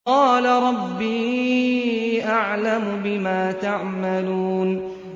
قَالَ رَبِّي أَعْلَمُ بِمَا تَعْمَلُونَ